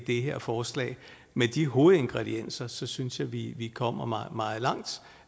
her forslag med de hovedingredienser synes jeg vi kommer meget meget langt